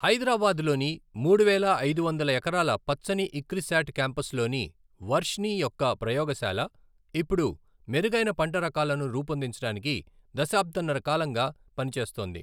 హైదరాబాద్లోని మూడువేల ఐదు వందల ఎకరాల పచ్చని ఇక్రిసాట్ క్యాంపస్లోని వర్ష్నీ యొక్క ప్రయోగశాల, ఇప్పుడు మెరుగైన పంట రకాలను రూపొందించడానికి దశాబ్దంన్నర కాలంగా పని చేస్తోంది.